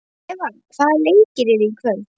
Eva, hvaða leikir eru í kvöld?